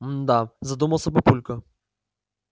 мм да задумался папулька